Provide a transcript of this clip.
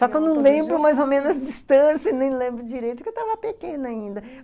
Só que eu não lembro mais ou menos distância, nem lembro direito, porque eu tava pequena ainda.